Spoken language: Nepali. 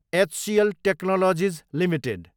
HCl technologies Ltd